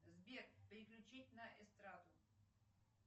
сбер переключить на эстраду